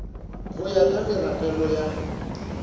go ya ka meragelo ya